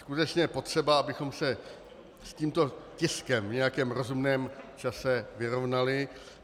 Skutečně je potřeba, abychom se s tímto tiskem v nějakém rozumném čase vyrovnali.